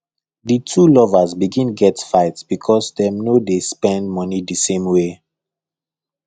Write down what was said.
the two lovers begin get fight because dem no dey spend money the same way